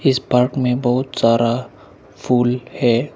इस पार्क में बहुत सारा फूल है।